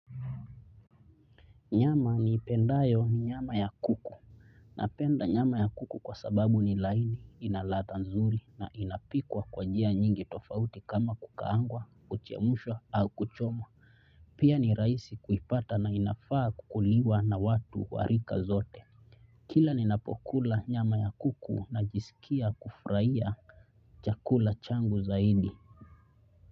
Nyama niipendayo ni nyama ya kuku. Napenda nyama ya kuku kwa sababu ni laini, ina ladha nzuri na inapikwa kwa njia nyingi tofauti kama kukaangwa, kuchemshwa au kuchomwa. Pia ni raisi kuipata na inafaa kukuliwa na watu warika zote. Kila ninapokula nyama ya kuku najisikia kufurahia chakula changu zaidi.